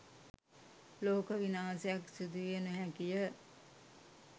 ලෝක විනාශයක් සිදුවිය නොහැකිය.